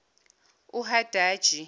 uhadaji